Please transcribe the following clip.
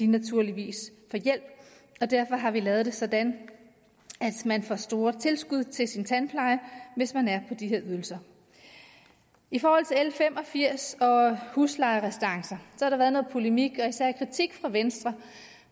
naturligvis får hjælp derfor har vi lavet det sådan at man får store tilskud til sin tandpleje hvis man er på de her ydelser i forhold til l fem og firs og huslejerestancer har der været noget polemik og især kritik fra venstre